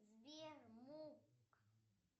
сбер мук